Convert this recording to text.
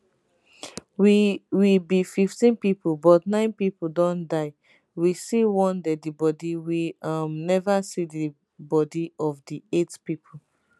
we we be 15 pipo but nine pipo don die we see one deadibodi we um neva see di bodi of di eight pipo